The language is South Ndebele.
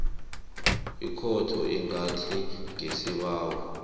ikhotho ingathi ngesibawo